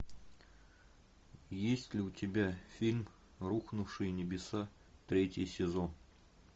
есть ли у тебя фильм рухнувшие небеса третий сезон